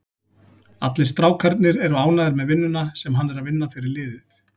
Allir strákarnir eru ánægður með vinnuna sem hann er að vinna fyrir liðið.